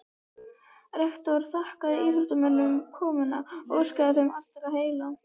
Rektor þakkaði íþróttamönnum komuna og óskaði þeim allra heilla.